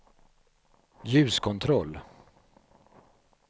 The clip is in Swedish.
ljuskontroll